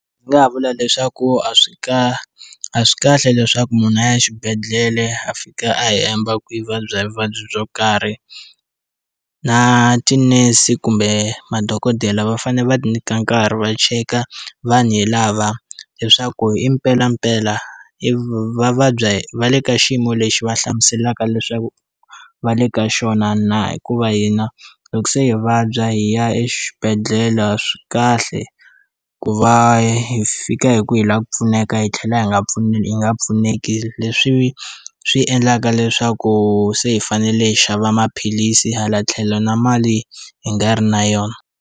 Ndzi nga ha vula leswaku a swi kahle a swi kahle leswaku munhu a ya xibedhlele a fika a hemba ku vabya hi vuvabyi byo karhi na tinese kumbe madokodela va fane va nyika nkarhi va cheka vanhu hi lava leswaku i mpelampela i va vabya va le ka xiyimo lexi va hlamuselaka leswaku va le ka xona na hikuva hina loko se hi vabya hi ya exibedhlele swi kahle ku va hi fika hi ku hi lava ku pfuneka hi tlhela hi nga pfune yi nga pfuneki leswi swi endlaka leswaku se hi fanele hi xava maphilisi hala tlhelo na mali hi nga ri na yona.